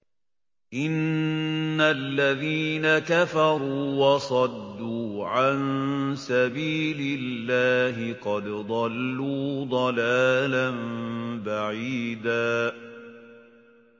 إِنَّ الَّذِينَ كَفَرُوا وَصَدُّوا عَن سَبِيلِ اللَّهِ قَدْ ضَلُّوا ضَلَالًا بَعِيدًا